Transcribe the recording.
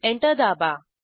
enter दाबा